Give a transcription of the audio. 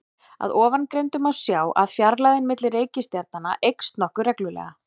Af ofangreindu má sjá að fjarlægðin milli reikistjarnanna eykst nokkuð reglulega.